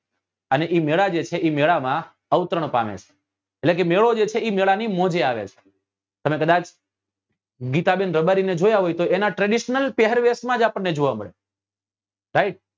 અને એ મેળા જે છે એ મેળા માં અવતરણ પામે છે એટલે કે એ મેળો જે છે એ મેળા ની મોજે આવે છે તમે કદાચ ગીતા બેન રબારી ને જોયા હોય તો એના traditional પહેરવેશ માં જ આપણને જોવા મળે right